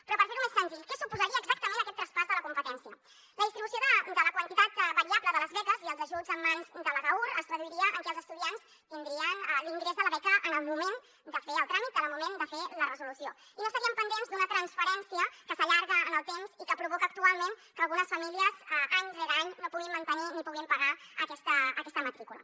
però per fer·ho més senzill què suposaria exactament aquest traspàs de la com·petència la distribució de la quantitat variable de les beques i els ajuts en mans de l’agaur es traduiria en que els estudiants tindrien l’ingrés de la beca en el moment de fer el tràmit en el moment de fer la resolució i no estarien pendents d’una trans·ferència que s’allarga en el temps i que provoca actualment que algunes famílies any rere any no puguin mantenir ni puguin pagar aquesta matrícula